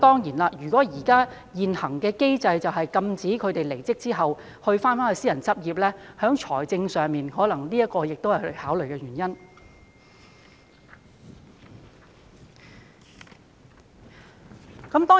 然而，由於現行機制禁止他們離職後再度私人執業，財政方面當然亦可能是他們的考慮因素。